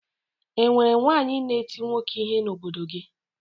E nwere nwaanyị na-eti nwoke ihe n'obodo gị?